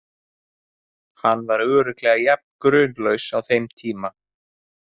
Hann var örugglega jafn grunlaus á þeim tíma.